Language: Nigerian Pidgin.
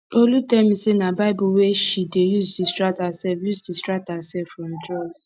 olu tell me say na bible wey she dey use distract herself use distract herself from drugs